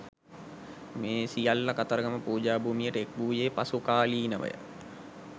මේ සියල්ල කතරගම පූජාභූමියට එක් වූයේ පසු කාලීනව ය.